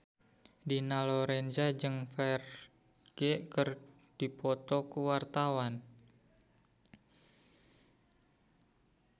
Dina Lorenza jeung Ferdge keur dipoto ku wartawan